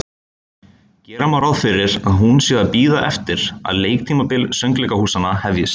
Gera má ráð fyrir, að hún sé að bíða eftir, að leiktímabil söngleikahúsanna hefjist.